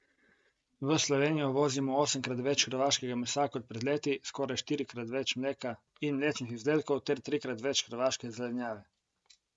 V Slovenijo uvozimo osemkrat več hrvaškega mesa kot pred leti, skoraj štirikrat več mleka in mlečnih izdelkov ter trikrat več hrvaške zelenjave.